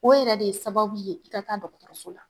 O yɛrɛ de ye sababu ye i ka dɔgɔtɔso la.